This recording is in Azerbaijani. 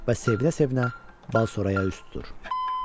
Və sevinə-sevinə Balçoraya üz tutur.